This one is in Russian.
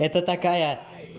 это такая